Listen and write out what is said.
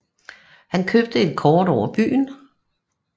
Han købte et kort over byen